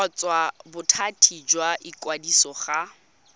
kgotsa bothati jwa ikwadiso go